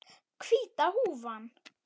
Hvíta húfan.